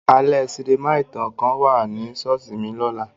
Alẹ sinima itan kan wa ni ṣọọṣi mi lola.